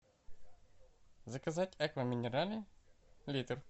заказать аква минерале литр